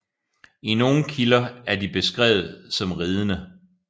I nogen kilder er de beskrevet som ridende